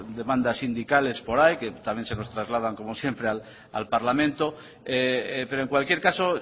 demandas sindicales por ahí que también se les trasladan como siempre al parlamento pero en cualquier caso